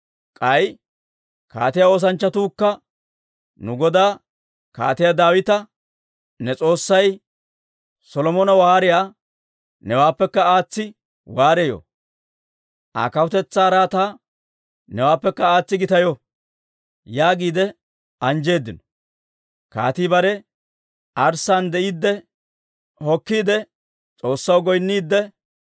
K'ay kaatiyaa oosanchchatuukka nu godaa Kaatiyaa Daawita, ‹Ne S'oossay Solomona waariyaa newaappekka aatsi waareyo! Aa kawutetsaa araataa newaappekka aatsi gitayo!› yaagiide anjjeeddino. Kaatii bare arssaan de'iidde hokkiide S'oossaw goynniidde,